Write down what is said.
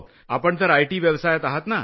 आपण तर आयटी व्यवसायात आहात ना